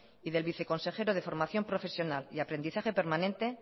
y del viceconsejero de formación profesional y aprendizaje permanente